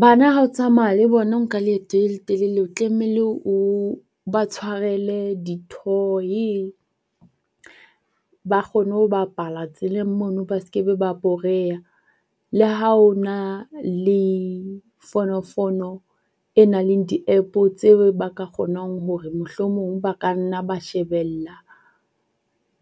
Bana ha o tsamaya le bona o nka leeto le le telele o tlameile o ba tshwarele di-toy ba kgone ho bapala tseleng mono ba se be ba boreha. Le ha o na le fonofono e nang le di-App tse ba ka kgonang hore mohlomong ba ka nna ba shebella